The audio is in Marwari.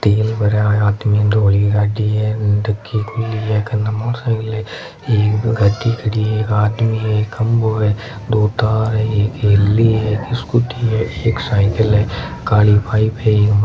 तेल भरा हाँथ में धोली गाड़ी है उन टंकी खुली है कने मोटरसाइकिल है एक गद्दी खड़ी है एक आदमी है एक खम्भों है दो तार है एक हेली है एक स्कूटी है एक साईकिल है काली पाइप है --